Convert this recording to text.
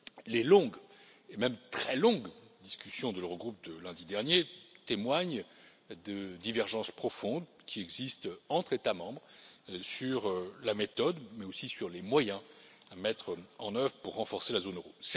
Les longues, et même très longues, discussions de l'Eurogroupe de lundi dernier témoignent de divergences profondes qui existent entre États membres sur la méthode, mais aussi sur les moyens, à mettre en œuvre pour renforcer la zone euro.